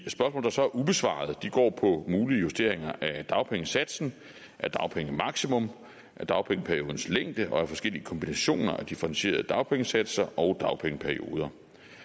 der så er ubesvaret går på mulige justeringer af dagpengesatsen af dagpengemaksimum af dagpengeperiodens længde og af forskellige kombinationer af differentierede dagpengesatser og dagpengeperioder